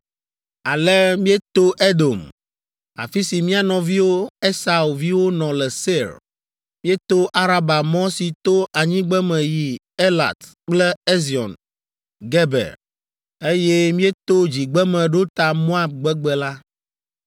Ale míeto Edom, afi si mía nɔviwo Esau viwo nɔ le Seir. Míeto Araba mɔ si to anyigbeme yi Elat kple Ezion Geber, eye míeto dzigbeme ɖo ta Moab gbegbe la.